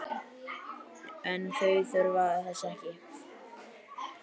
En þau þurfa þess ekki.